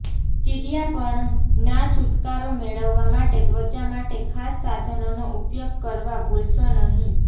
ચીડિયાપણું ના છુટકારો મેળવવા માટે ત્વચા માટે ખાસ સાધનોનો ઉપયોગ કરવા ભૂલશો નહીં